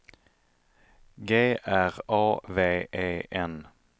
G R A V E N